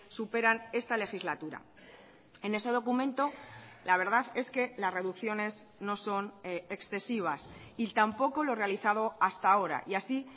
superan esta legislatura en ese documento la verdad es que las reducciones no son excesivas y tampoco lo realizado hasta ahora y así